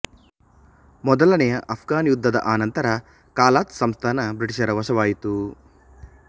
ಮೊದಲನೆಯ ಆಫ್ಘನ್ ಯುದ್ಧದ ಅನಂತರ ಕಲಾತ್ ಸಂಸ್ಥಾನ ಬ್ರಿಟಿಷರ ವಶವಾಯಿತು